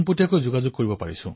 আদৰণীয় প্ৰধানমন্ত্ৰী ডাঙৰীয়া